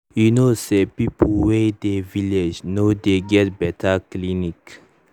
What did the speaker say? you know say people way dey village no dey get better clinic